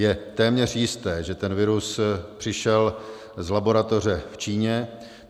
Je téměř jisté, že ten virus přišel z laboratoře v Číně.